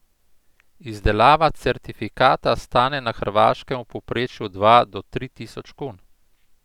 Izdelava certifikata stane na Hrvaškem v povprečju dva do tri tisoč kun.